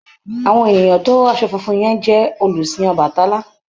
Àwọn ènìyàn tó ró aṣọ funfun yẹn jẹ́ olùsìn Ọbàtálá.